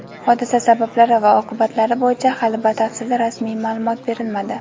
Hodisa sabablari va oqibatlari bo‘yicha hali batafsil rasmiy ma’lumot berilmadi.